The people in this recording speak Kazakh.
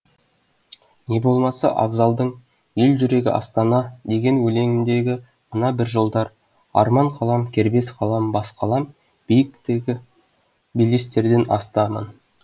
не болмаса абзалдың ел жүрегі астана деген өлеңіндегі мына бір жолдар арман қалам кербез қалам бас қалам биіктегі белестерден асты аман